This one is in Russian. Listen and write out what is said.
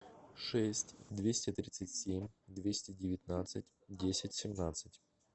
шесть двести тридцать семь двести девятнадцать десять семнадцать